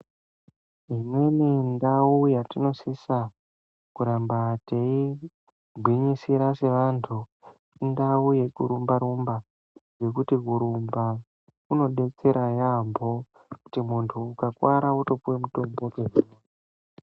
Imweni ndao yatinosisa kuramba tiyi gwinyisira seantu, intawo yekurumba -rumba, nekuti kurumba kunodetsera yamho kuti untu ukakuwara wotopiwa mitombo.